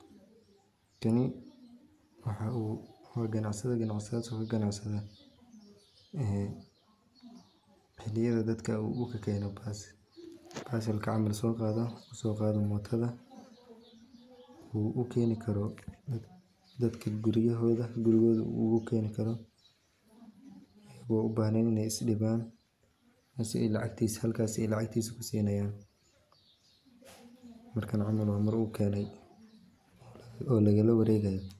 Kani waa ganacsada wuxuu ka ganacsada wuxuu soo qada adeeg uu ugu keeni karo dadka guryahooda asagana halkaas ayaa lacagtiisa lagu siinaya.